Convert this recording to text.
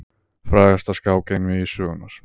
Frægasta skák einvígi sögunnar.